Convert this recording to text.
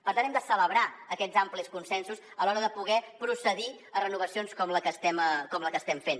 per tant hem de celebrar aquests amplis consensos a l’hora de poder procedir a renovacions com la que estem fent